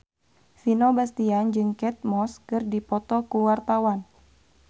Vino Bastian jeung Kate Moss keur dipoto ku wartawan